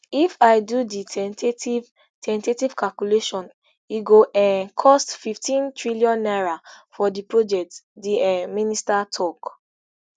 if i do di ten tative ten tative calculation e go um cost fifteentrn naira for di project di um minister tok